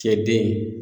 Cɛ den